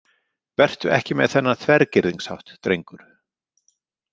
Vertu ekki með þennan þvergirðingshátt, drengur.